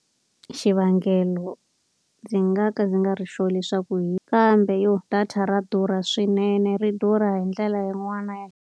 Xivangelo ndzi nga ka ndzi nga ri sure leswaku kambe yo data ra durha swinene, ri durha hi ndlela yin'wana ya.